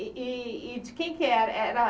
E e e de quem que era er era?